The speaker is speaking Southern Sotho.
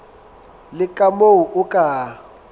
le ka moo o ka